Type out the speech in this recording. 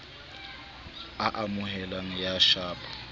a amoheleha ya ho shapa